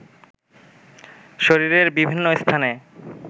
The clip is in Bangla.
শরীরের বিভিন্ন স্থানে